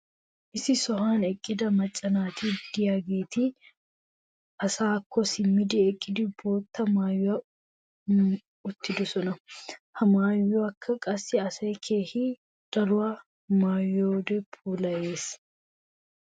issi sohuwan eqqida macca naati diyaageeti asaakko simmi eqqidi boottaa maayi uttidosona. ha maayoykka qassi asaa keehi daruwa maayiyoode puulayees .